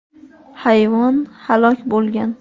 Hayvon halok bo‘lgan.